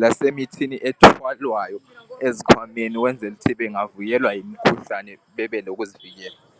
lasemithini ethwalwayo ezikhwameni ukwenzela ukuthi bengavukelwa yimikhuhlane bebelokuzivikela